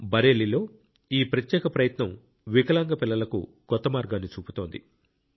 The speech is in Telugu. బరేలీలో ఈ ప్రత్యేక ప్రయత్నం వికలాంగ పిల్లలకు కొత్త మార్గాన్ని చూపుతోంది